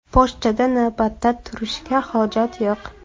Pochtada navbatda turishga hojat yo‘q.